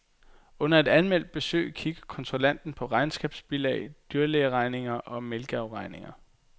Under et anmeldt besøg kigger kontrollanten på regnskabsbilag, dyrlægeregninger, og mælkeafregninger.